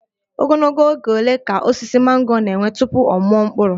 Ogologo oge ole ka osisi mango ga-ewe tupu ọ mụọ mkpụrụ?